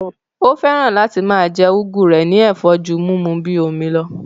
Ó fẹ́ràn láti máa jẹ́ úgú rẹ̀ ní ẹ̀fọ́ ju múmu ú bíi omi lọ